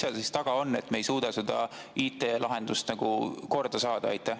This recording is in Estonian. Mis seal taga on, et me ei suuda seda IT‑lahendust korda saada?